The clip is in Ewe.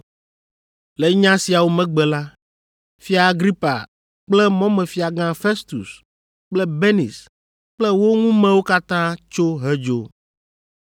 Le nya siawo megbe la, Fia Agripa kple Mɔmefiagã Festus kple Benis kple wo ŋumewo katã tso hedzo.